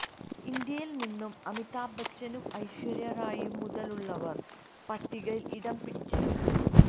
ഇന്ത്യയില് നിന്നും അമിതാഭ് ബച്ചനും ഐശ്വര്യാ റായും മുതലുള്ളവര് പട്ടികയില് ഇടം പിടിച്ചിരുന്നു